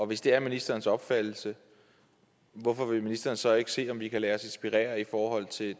hvis det er ministerens opfattelse hvorfor vil ministeren så ikke se om vi kan lade os inspirere i forhold til